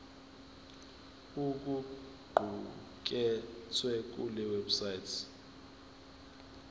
okuqukethwe kule website